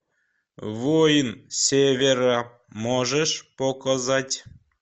воин севера можешь показать